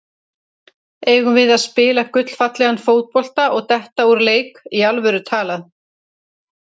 Eigum við að spila gullfallegan fótbolta og detta úr leik, í alvöru talað?